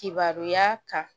Kibaruya ta